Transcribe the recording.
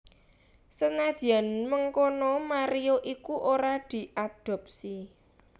Senadyan mengkono Mario iku ora diadopsi